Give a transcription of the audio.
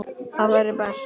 Það væri best.